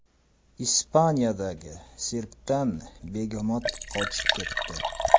Ispaniyadagi sirkdan begemot qochib ketdi .